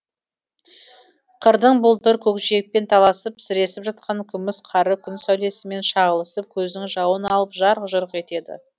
қырдың бұлдыр көкжиекпен таласып сіресіп жатқан күміс қары күн сәулесімен шағылысып көздің жауын алып жарқ жұрқ етеді